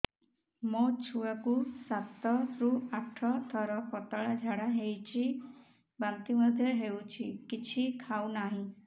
ମୋ ଛୁଆ କୁ ସାତ ରୁ ଆଠ ଥର ପତଳା ଝାଡା ହେଉଛି ବାନ୍ତି ମଧ୍ୟ୍ୟ ହେଉଛି କିଛି ଖାଉ ନାହିଁ